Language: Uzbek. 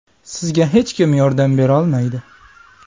Sizga hech kim yordam berolmaydi.